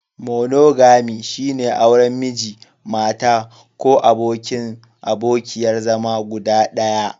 Monogami, shine auren Miji/Mata ko abokin/abokiyar zama guda ɗaya.